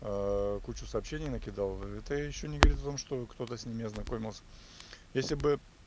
кучу сообщений накидал это ещё не говорит о том что кто-то с ними ознакомился если бы